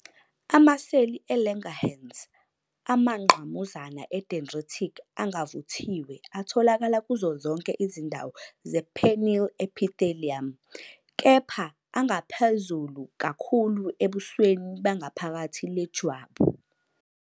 Amaseli e-Langerhans amangqamuzana e-dendritic angavuthiwe atholakala kuzo zonke izindawo ze-penile epithelium, kepha angaphezulu kakhulu ebusweni bengaphakathi lejwabu.